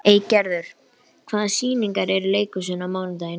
Eygerður, hvaða sýningar eru í leikhúsinu á mánudaginn?